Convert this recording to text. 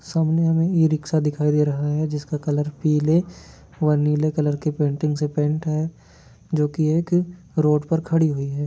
सामने हमें e rickshaw दिखाई दे रहा है जिसका कलर पीले वह नीले कलर पेंटिंग से पेंट है जो की एक रोड पर खड़ी हुई है।